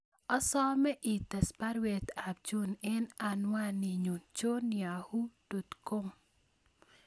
Asome ites baruet ab John en anwaninyun john yahoo dot com